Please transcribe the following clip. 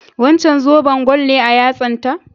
Wancan zoben gwal ne a yatsan ta?